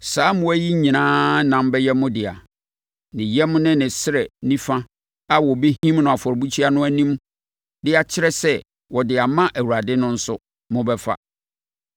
Saa mmoa yi nyinaa ɛnam bɛyɛ mo dea. Ne yan ne ne srɛ nifa a wɔbɛhim no afɔrebukyia no anim de akyerɛ sɛ wɔde ama Awurade no nso, mobɛfa.